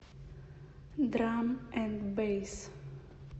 драм энд бэйс